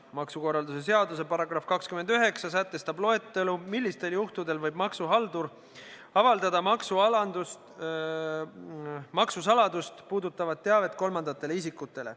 Maksukorralduse seaduse § 29 sätestab loetelu, millistel juhtudel võib maksuhaldur avaldada maksusaladust puudutavat teavet kolmandatele isikutele.